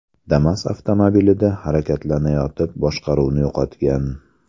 Damas avtomobilida harakatlanayotib boshqaruvni yo‘qotgan.